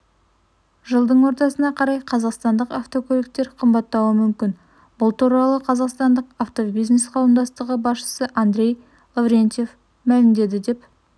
жылдың ортасына қарай қазақстандық автокөліктер қымбаттауы мүмкін бұл туралы қазақстандық автобизнес қауымдастығы басшысыандрей лаврентьев мәлімдеді деп